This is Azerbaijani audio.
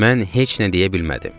Mən heç nə deyə bilmədim.